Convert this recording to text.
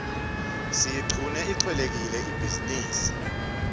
siyiqune ihcelekile ibhizinisi